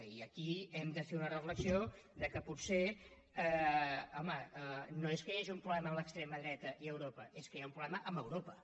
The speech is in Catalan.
i aquí hem de fer una reflexió que potser home no és que hi hagi un problema a l’extrema dreta i a europa és que hi ha un problema amb europa